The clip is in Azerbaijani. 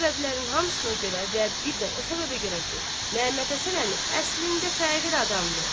Bu səbəblərin hamısına görə və bir də o səbəbə görə ki, Məhəmməd Həsən əmi əslində fəqir adamdır.